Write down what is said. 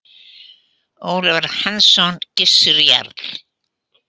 Ólafur Hansson: Gissur jarl.